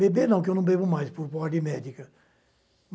Beber, não, porque eu não bebo mais, por ordem médica.